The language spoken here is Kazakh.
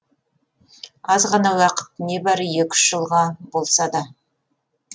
азғана уақыт небәрі екі үш жылға болса да